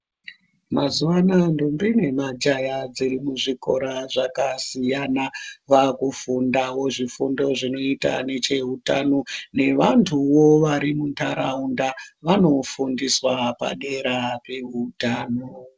Mazuwa anaa ndombi nemajaya dzezvikora zvakasiyana wakufundawo zvifundo zvinoita necheutano newanduwo wari mundaraunda wanofundiswa padera pehutano.